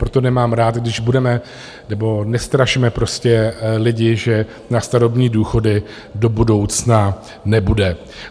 Proto nemám rád, když budeme... nebo nestrašme prostě lidi, že na starobní důchody do budoucna nebude.